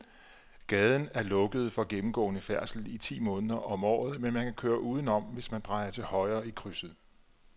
Gaden er lukket for gennemgående færdsel ti måneder om året, men man kan køre udenom, hvis man drejer til højre i krydset.